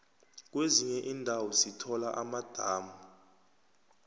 kwezinye indawo sithola amadamu